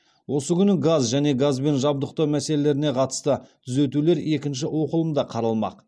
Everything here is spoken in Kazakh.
осы күні газ және газбен жабдықтау мәселелеріне қатысты түзетулер екінші оқылымда қаралмақ